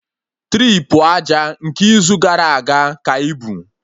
Tripu aja nke izu gara aga ka ibu